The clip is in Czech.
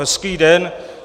Hezký den.